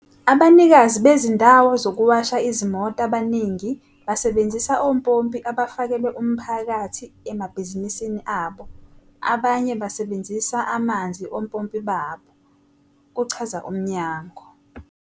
"Abanikazi bezindawo zokuwasha izimoto abaningi basebenzisa ompompi abafakelwe umphakathi emabhizinisini abo, abanye basebenzisa amanzi ompompi babo," kuchaza umnyango.